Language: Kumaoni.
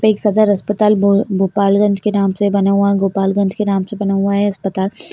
एक सदर अस्पताल भो-भोपालगंज के नाम से बना हुआ गोपालगंज के नाम से बना हुआ है अस्पताल।